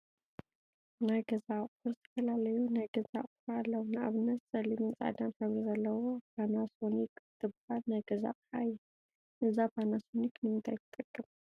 ናይ ገዛ አቁሑ ዝተፈላለዩ ናይ ገዛ አቁሑ አለው፡፡ ንአብነት ፀሊምን ፃዕዳን ሕብሪ ዘለዋ ፓናሶኒክ እትበሃል ናይ ገዛ አቅሓ እያ፡፡ እዛ ፓናሶኒክ ንምንታይ ትጠቅም?